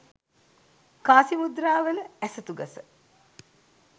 කාසි මුද්‍රාවල ඇසතු ගස